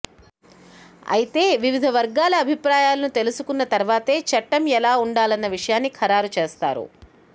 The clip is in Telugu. అయితే వివిధ వర్గాల అభిప్రాయాలను తెలుసుకున్న తర్వాతే చట్టం ఎలా ఉండాలన్న విషయాన్ని ఖరారు చేస్తారు